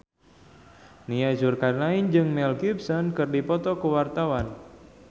Nia Zulkarnaen jeung Mel Gibson keur dipoto ku wartawan